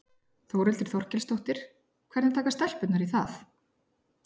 Þórhildur Þorkelsdóttir: Hvernig taka stelpurnar í það?